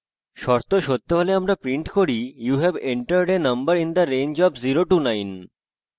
শর্ত সত্য হলে আমরা print করি you have entered a number in the range of 09